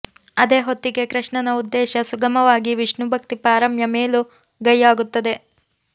ಅದೇ ಹೊತ್ತಿಗೆ ಕೃಷ್ಣನ ಉದ್ದೇಶ ಸುಗಮವಾಗಿ ವಿಷ್ಣು ಭಕ್ತಿ ಪಾರಮ್ಯ ಮೇಲುಗೈಯಾಗುತ್ತದೆ